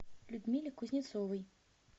людмиле кузнецовой